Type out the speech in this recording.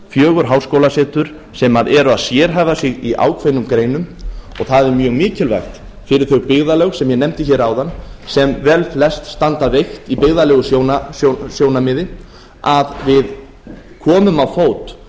fjögur háskólasetur sem eru að sérhæfa sig á ákveðnum greinum og það er mjög mikilvægt fyrir þau byggðarlög sem ég nefndi hér áðan sem velflest standa veikt í byggðalegu sjónarmiði að við komum á fót